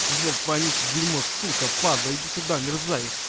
жлоб вонючий дерьмо падла иди сюда мерзавец